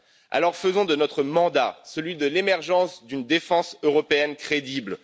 Alors, faisons de notre mandat celui de l'émergence d'une défense européenne crédible.